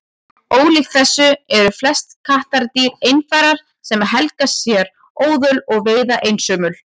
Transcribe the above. ólíkt þessu eru flest kattardýr einfarar sem helga sér óðöl og veiða einsömul